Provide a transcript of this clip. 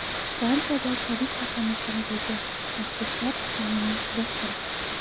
Fransiyada politsiya qamoqxonadagi mahbuslar isyonini bostirdi.